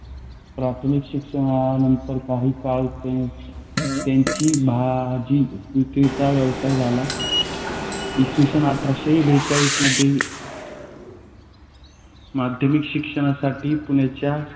. प्राथमिक शिक्षणानंतर काही काळ त्यांची त्यांची भाजी विक्रीचा व्यवसाय झाला. इ. स. आठरसे बेचाळीस मध्ये माध्यमिक शिक्षणासाठी पुण्याच्या